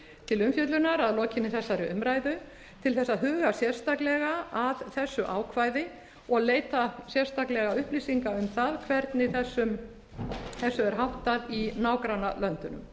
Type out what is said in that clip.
til umfjöllunar að lokinni þessari umræðu til þess að huga sérstaklega að þessu ákvæði og leita sérstaklega upplýsinga um það hvernig þessu er háttað í nágrannalöndunum